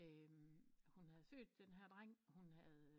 Hun havde født den her dreng hun havde